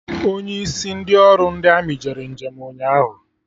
Onye isi ndị ọrụ ndi amị jere njem ụnyaahụ